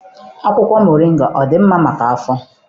Akwụkwọ mọrịnga ọ dị mma maka afọ?